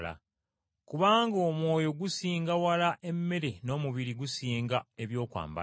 Kubanga omwoyo gusinga wala emmere n’omubiri gusinga ebyambalo.